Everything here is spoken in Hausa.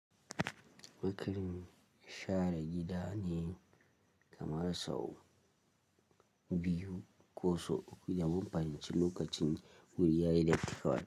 Wakilin share gida ne kamar sau biyu ko so uku da mun fahimci lokacin wuri ya electrical.